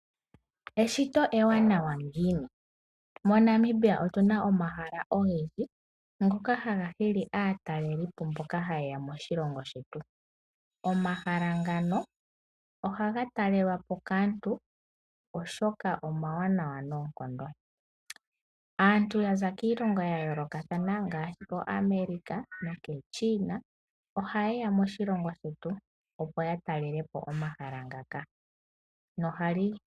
Eshito ewanawa ngiini? MoNamibia omuna omahala ogendji ngoka haga nana aatalelipo mboka hayeya moshilongo shetu. Omahala ngaka ohaga talelwapo kaantu, oshoka omawanawa noonkondo. Aantu yaza kiilongo ya yoolokathana ngaashi koAmerica naChina, ohayeya moshilongo shetu opo ya talelepo omahala ngaka.